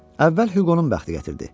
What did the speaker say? Əvvəl Hüqonun bəxti gətirdi.